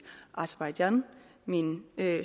aserbajdsjan min